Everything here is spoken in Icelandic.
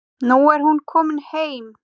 Nú er hún komin heim.